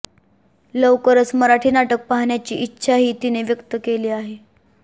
लवकरच मराठी नाटक पाहण्याची इच्छाही तिने व्यक्त केली आहे